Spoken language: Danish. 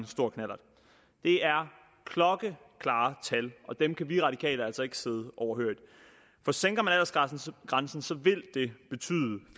stor knallert det er klokkeklare tal og dem kan vi radikale altså ikke sidde overhørigt for sænker man aldersgrænsen